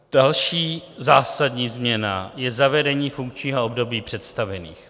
Další zásadní změna je zavedení funkčních období představených.